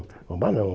Roubar, não.